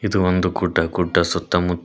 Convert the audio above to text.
ಇದು ಒಂದು ಗುಡ್ಡ ಗುಡ್ಡ ಸುತ್ತಮು--